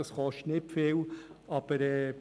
Das kostet nicht viel.